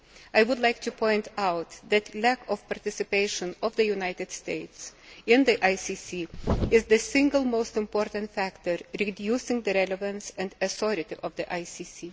I would like to point out that the lack of participation of the United States in the ICC is the single most important factor reducing the relevance and authority of the ICC.